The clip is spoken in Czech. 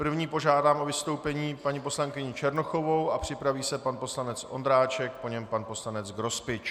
První požádám o vystoupení paní poslankyni Černochovou a připraví se pan poslanec Ondráček, po něm pan poslanec Grospič.